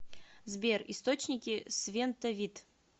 сбер источники свентовит